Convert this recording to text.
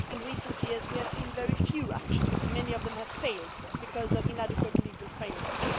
In recent years we have seen very few actions and many of them have failed because of inadequate legal frameworks.